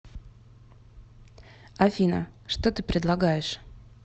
афина что ты предлагаешь